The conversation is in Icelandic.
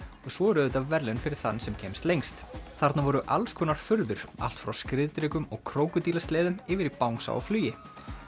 svo eru auðvitað verðlaun fyrir þann sem kemst lengst þarna voru furður allt frá skriðdrekum og yfir í bangsa á flugi